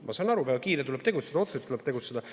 Ma saan aru, on väga kiire, tuleb tegutseda, otseselt tuleb tegutseda.